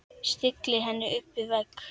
Stillir henni upp við vegg.